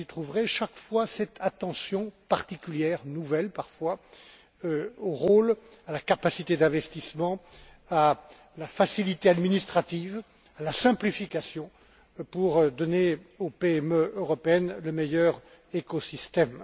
Vous y trouverez chaque fois cette attention particulière nouvelle parfois au rôle, à la capacité d'investissement, à la facilité administrative, à la simplification, pour donner aux petites et moyennes entreprises européennes le meilleur écosystème.